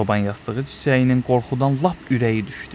Çoban yastığı çiçəyinin qorxudan lap ürəyi düşdü.